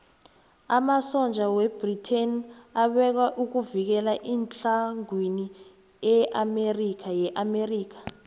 amasotja webritain abekwa ukuvikela itlhagwini yeamerika